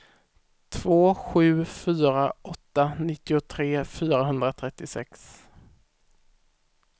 två sju fyra åtta nittiotre fyrahundratrettiosex